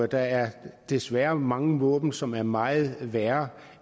der er desværre mange våben som er meget værre